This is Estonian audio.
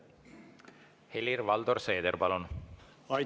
Helir-Valdor Seeder, palun!